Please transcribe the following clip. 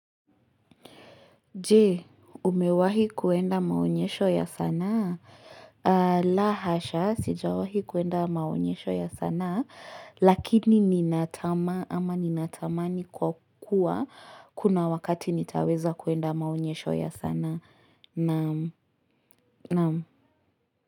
Je, umewahi kwenda maonyesho ya sana? La hasha, sijawahi kwenda maonyesho ya sanaa, lakini ninatamaa, ama ninatamani kwa kuwa, kuna wakati nitaweza kwenda maonyesho ya sanaa. Naam.naam